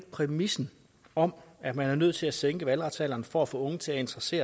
præmissen om at man er nødt til at sænke valgretsalderen for at få unge til at interesse